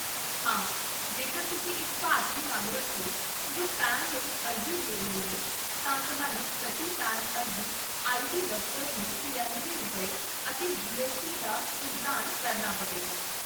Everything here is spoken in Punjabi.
ਹਾਂ, ਜੇਕਰ ਤੁਸੀਂ ਇੱਕ ਭਾਰਤੀ ਨਾਗਰਿਕ ਹੋ ਜੋ ਪੈਨ ਲਈ ਅਰਜ਼ੀ ਦੇ ਰਹੇ ਹੋ, ਤਾਂ ਤੁਹਾਨੂੰ ਪ੍ਰਤੀ ਪੈਨ ਅਰਜ਼ੀ ਆਈਟੀ ਦਫ਼ਤਰ ਨੂੰ ਤਰਿਅਨਵੇਂ ਰੁਪਏ, ਅਤੇ ਜੀ ਐੱਸ ਟੀ ਦਾ ਭੁਗਤਾਨ ਕਰਨਾ ਪਵੇਗਾ